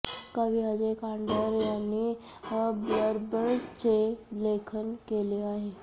कवी अजय कांडर यांनी ब्लर्बचे लेखन केले आहे